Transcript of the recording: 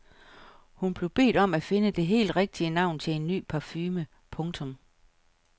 Hun blev bedt om at finde det helt rigtige navn til en ny parfume. punktum